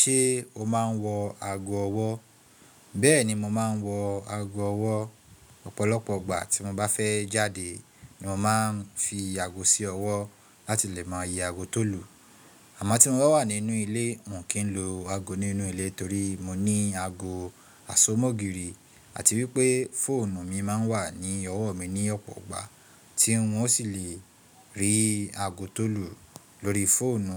Ṣé o máa ń wọ aago ọwọ́? Bẹ́ẹ̀ni, mo máa ń wọ aago ọwọ́. Ọ̀pọ̀lọpọ̀ ìgbà tí mo bá fẹ́ jáde ni mo máa ń fi aago sí ọwọ́ láti lè mọyé ago tó lù. Àmọ́ tí mo bá wà nínú ilé, mo kì n lo ago nínú ilé torí mo ní ago àsomọ́gìrì àti wípé fóònù mi máa ń wà ní ọwọ́ mi ní ọ̀pọ̀ ìgbà tí wọn sì le rí ago tó lù lóri fóònù